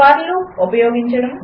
for loop ఉపయోగించడం 2